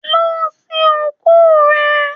Lọ sìn òkú rẹ!